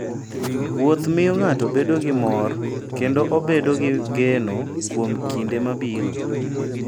Wuoth miyo ng'ato bedo gi mor kendo obedo gi geno kuom kinde mabiro.